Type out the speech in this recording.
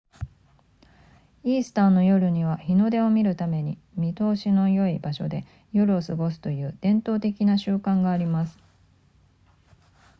イースターの夜には日の出を見るために見通しの良い場所で夜を過ごすという伝統的な習慣があります